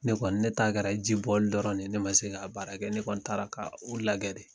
Ne kɔni ne kɛra ji bɔli dɔrɔn de yen ne ma se k'a baara kɛ ne kɔni taara ka u lagɛ de